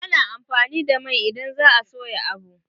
Ana amfani da mai idan za a soya abu.